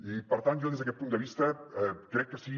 i per tant jo des d’aquest punt de vist crec que sí